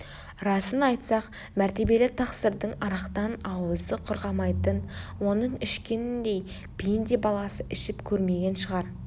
расын айтсақ мәртебелі тақсырдың арақтан аузы құрғамайтын оның ішкеніндей пенде баласы ішіп көрмеген шығар